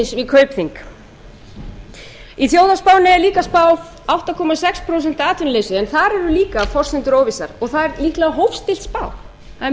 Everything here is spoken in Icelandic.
kaupþing í þjóðhagsspánni er líka spáð átta komma sex prósent atvinnuleysi en þar eru líka forsendur óvissar og það er líklega